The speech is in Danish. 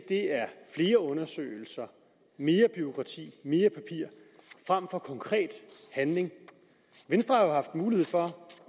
er flere undersøgelser mere bureaukrati mere papir fremfor konkret handling venstre har haft mulighed for